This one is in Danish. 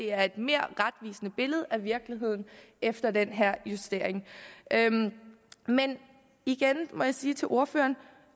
er et mere retvisende billede af virkeligheden efter den her justering men igen må jeg sige til ordføreren